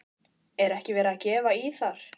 Er ekki verið að gefa í þar?